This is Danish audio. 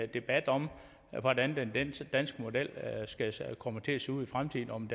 debat om hvordan den danske model kommer til at se ud i fremtiden og om